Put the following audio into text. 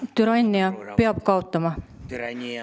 Türannia peab kaotama.